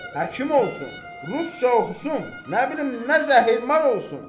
Həkim olsun, Rusça oxusun, nə bilim nə zəhərman olsun.